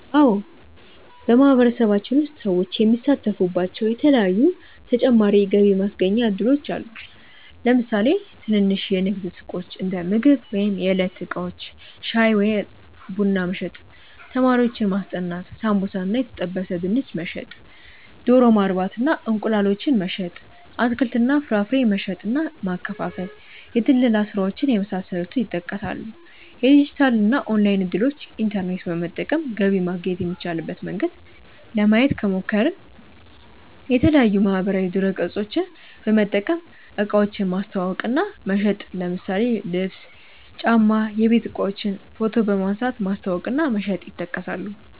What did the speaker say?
አዎ በማህበረሰባችን ውስጥ ሰዎች የሚሳተፉባቸዉ የተለያዪ ተጨማሪ የገቢ ማስገኛ እድሎች አሉ። ለምሳሌ ትንንሽ የንግድ ሱቆች(እንደምግብ ወይም የዕለት እቃዎች) ፣ ሻይ ወይም ቡና መሸጥ፣ ተማሪዎችን ማስጠናት፣ ሳምቡሳ እና የተጠበሰ ድንች መሸጥ፣ ዶሮ ማርባት እና እንቁላላቸውን መሸጥ፣ አትክልት እና ፍራፍሬ መሸጥ እና ማከፋፈል፣ የድለላ ስራዎች የመሳሰሉት ይጠቀሳሉ። የዲጂታል እና ኦንላይን እድሎችን( ኢንተርኔት በመጠቀም ገቢ ማግኘት የሚቻልበት መንገድ) ለማየት ከሞከርን፦ የተለያዪ ማህበራዊ ድረገፆችን በመጠቀም እቃዎችን ማስተዋወቅ እና መሸጥ ለምሳሌ ልብስ፣ ጫማ፣ የቤት እቃዎችን ፎቶ በመንሳት ማስተዋወቅ እና መሸጥ ይጠቀሳሉ።